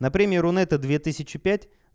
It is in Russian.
на премии рунета две тысячи пять